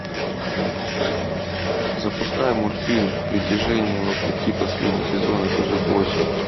запускай мультфильм притяжение вопреки последний сезон эпизод восемь